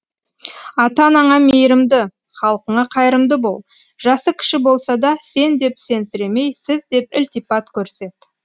ата анаңа мейірімді халқыңа қайрымды бол жасы кіші болса да сен деп сенсіремей сіз деп ілтипат көрсет